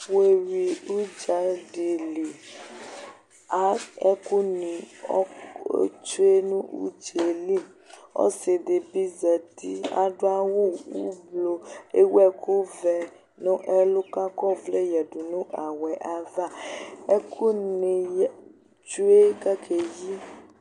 Wu ye wi udzaɖi li Ɛkuni tsoe nu udzeli Ɔsiɖibi zati, aɗuawu uvlo, ewu ɛkuvɛ nu ɛlu kakɔ vlɛ yaɗunu awuɛ ayava Ɛkuni tsoe kakezu